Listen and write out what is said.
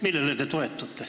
Millele te toetute?